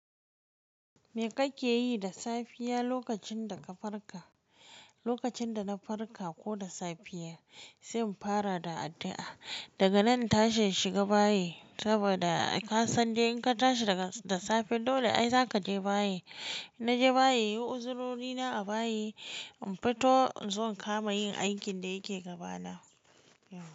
Me kake yi da safiya lokacin da ka farka? Lokacin da na farka ko da safiya, sai in fara da addu'a. Daga nan in tashi in shiga bayi saboda ai ka san de in ka tashi daga da safe dole ai za ka je bayi. Inna je bayi, yin uzurori na a bayi, in fito in zo in kama yin aikin da yake gaba na.